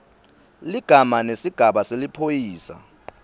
ligama nesigaba seliphoyisa